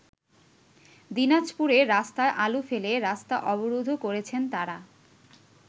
দিনাজপুরে রাস্তায় আলু ফেলে রাস্তা অবরোধও করেছেন তারা।